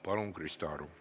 Palun, Krista Aru!